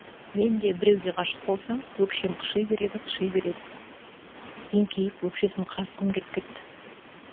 мен де біреуге ғашық болсам өкшем қыши береді қыши береді еңкейіп өкшесін қасығым келіп кетті